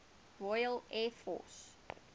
royal air force